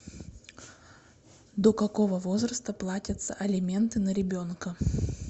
до какого возраста платятся алименты на ребенка